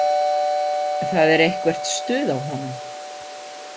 Það er eitthvert stuð á honum.